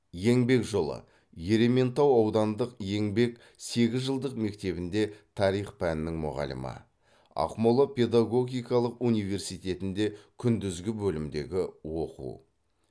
еңбек жолы ерейментау аудандық еңбек сегізжылдық мектебінде тарих пәнінің мұғалімі ақмола педагогикалық университетінде күндізгі бөлімдегі оқу